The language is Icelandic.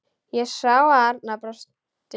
Ég sá að Arnar brosti.